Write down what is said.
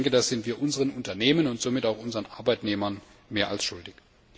Das sind wir unseren Unternehmen und somit auch unseren Arbeitnehmern mehr als schuldig.